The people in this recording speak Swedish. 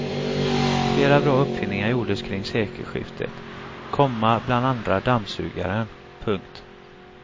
Flera bra uppfinningar gjordes kring sekelskiftet, komma bland andra dammsugaren. punkt